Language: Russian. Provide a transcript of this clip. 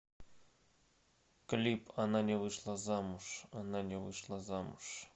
клип она не вышла замуж она не вышла замуж